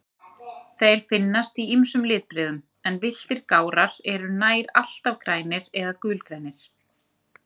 Þeir finnast í ýmsum litbrigðum, en villtir gárar eru nær alltaf grænir eða gulgrænir.